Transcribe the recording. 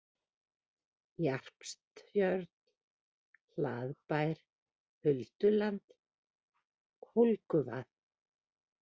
Jarpstjörn, Hlaðbær, Hulduland, Kólguvað